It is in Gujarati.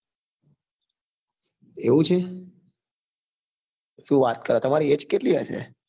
એવું છે શું વાત કરો તમારી age કેટલી હશે?